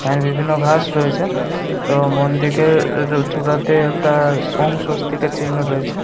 আর বিভিন্ন ঘাস রয়েছে এবং মন্দিরের এর চূড়াতে একটা ওং স্বস্তিকের চিহ্ন রয়েছে।